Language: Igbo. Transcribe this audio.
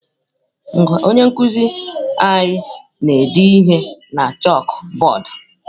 Onye nkuzi anyị na-ede ihe na chakụbọọdụ.